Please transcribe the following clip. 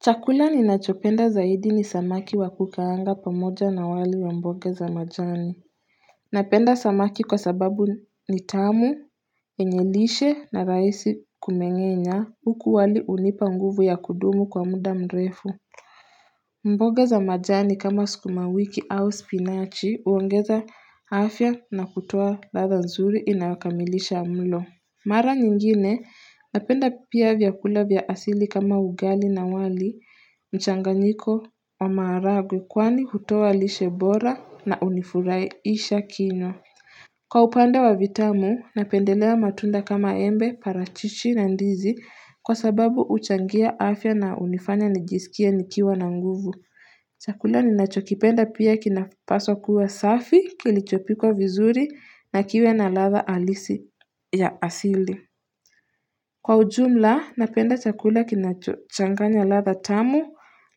Chakula ninachopenda zaidi ni samaki wa kukaanga pamoja na wali wa mboga za majani Napenda samaki kwa sababu ni tamu, yenye lishe na rahisi kumengenya huku wali unipa nguvu ya kudumu kwa muda mrefu mboga za majani kama sukuma wiki au spinachi uongeza afya na kutoa ladha nzuri inayokamilisha mlo Mara nyingine napenda pia vyakula vya asili kama ugali na wali, mchanganyiko na maragwe kwani hutoa lishe bora na unifurahisha kino. Kwa upande wa vitamu napendelewa matunda kama embe, parachichi na ndizi kwa sababu huchangia afya na unifanya nijisikie nikiwa na nguvu. Chakula ninachokipenda pia kinapaswa kuwa safi kilichopikwa vizuri na kiwe na ladha alisi ya asili. Kwa ujumla, napenda chakula kinachanganya ladha tamu,